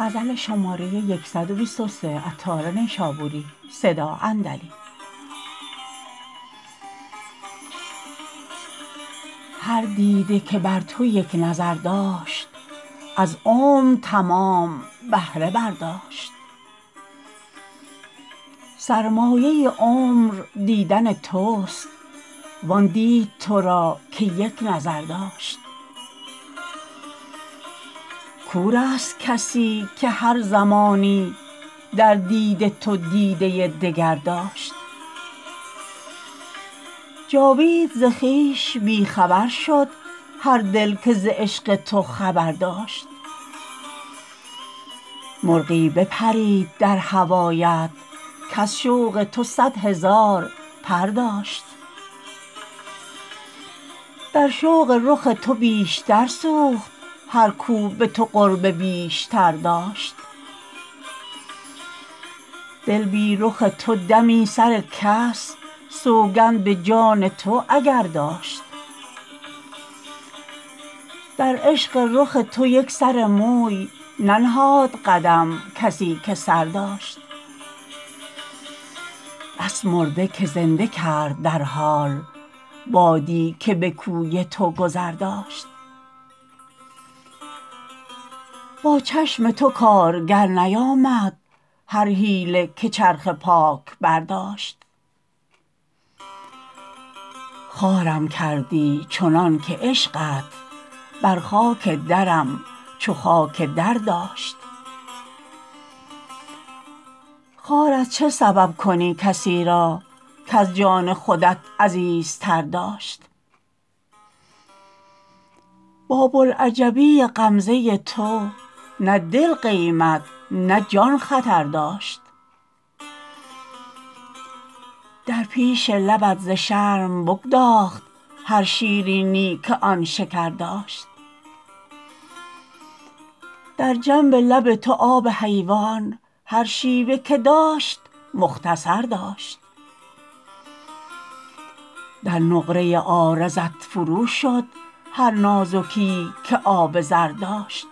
هر دیده که بر تو یک نظر داشت از عمر تمام بهره برداشت سرمایه عمر دیدن توست وان دید تو را که یک نظر داشت کور است کسی که هر زمانی در دید تو دیده دگر داشت جاوید ز خویش بی خبر شد هر دل که ز عشق تو خبر داشت مرغی بپرید در هوایت کز شوق تو صد هزار پر داشت در شوق رخ تو بیشتر سوخت هر کو به تو قرب بیشتر داشت دل بی رخ تو دمی سر کس سوگند به جان تو اگر داشت در عشق رخ تو یک سر موی ننهاد قدم کسی که سر داشت بس مرده که زنده کرد در حال بادی که به کوی تو گذر داشت با چشم تو کارگر نیامد هر حیله که چرخ پاک برداشت خوارم کردی چنان که عشقت بر خاک درم چو خاک در داشت خوار از چه سبب کنی کسی را کز جان خودت عزیزتر داشت با بوالعجبی غمزه تو نه دل قیمت نه جان خطر داشت در پیش لبت ز شرم بگداخت هر شیرینی که آن شکر داشت در جنب لب تو آب حیوان هر شیوه که داشت مختصر داشت در نقره عارضت فروشد هر نازکییی که آب زر داشت